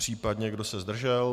Případně kdo se zdržel?